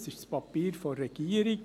Es ist das Papier der Regierung.